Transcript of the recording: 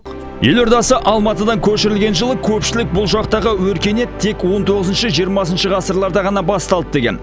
елордасы алматыдан көшірілген жылы көпшілік бұл жақтағы өркениет тек он тоғызыншы жиырмасыншы ғасырларда ғана басталды деген